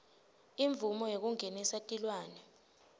imvumo yekungenisa tilwane